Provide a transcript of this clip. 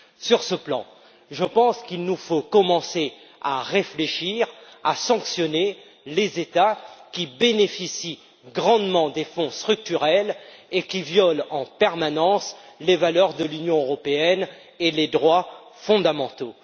Sur ce plan, je pense qu'il nous faut commencer à réfléchir à des sanctions pour les États qui bénéficient grandement des Fonds structurels et qui violent en permanence les valeurs de l'Union européenne et les droits fondamentaux.